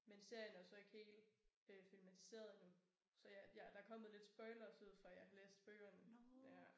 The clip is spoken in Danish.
Men serien er jo så ikke helt øh filmatiseret endnu så ja jeg der er kommet lidt spoilers ud fra at jeg har løst bøgerne